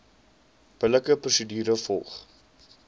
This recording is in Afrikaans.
billike prosedure gevolg